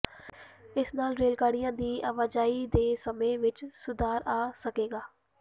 ਇਸ ਨਾਲ ਰੇਲਗੱਡੀਆਂ ਦੀ ਆਵਾਜਾਈ ਦੇ ਸਮੇਂ ਵਿਚ ਸੁਧਾਰ ਆ ਸਕੇਗਾ